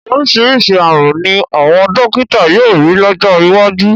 Oríṣiríṣi ààrùn ni àwọn dọ́kítà yóò rí lọ́jọ́ iwájú.